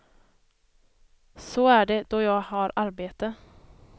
Så är det då jag har arbete.